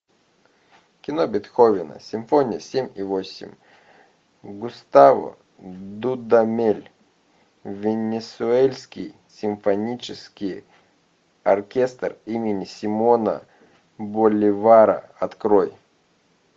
кино бетховен симфония семь и восемь густаво дудамель венесуэльский симфонический оркестр имени симона боливара открой